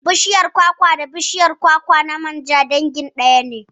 Bashiyar kwakwa da bishiyar kwakwar manja dangin bishiya ɗaya ne